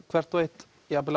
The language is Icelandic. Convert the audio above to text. hvert og eitt jafn vel